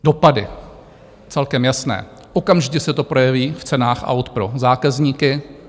Dopady celkem jasné, okamžitě se to projeví v cenách aut pro zákazníky.